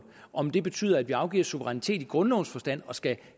om det betyder at vi afgiver suverænitet i grundlovens forstand og skal